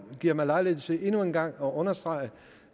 giver mig lejlighed til endnu en gang at understrege